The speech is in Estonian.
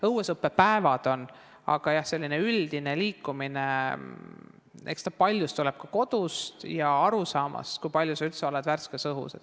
Õuesõppe päevad on olemas, aga jah, selline üldine liikumine tuleneb paljus ka kodust ja arusaamast, kui palju üldse värskes õhus olla tuleks.